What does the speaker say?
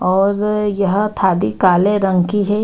और-र यह थाली काले रंग की है।